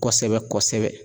Kosɛbɛ kosɛbɛ